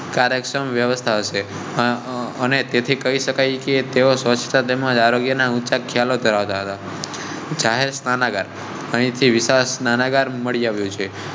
કાર્ય ક્ષમ વ્યવસ્થા શે અને તેથી કહી શકાય કે તેઓ સ્વચ્છતા તેમજ આરોગ્ય. જાહેર સ્નાના ગર અહી થી વિશાળ સ્નાના ગર મળી આવ્યો છે.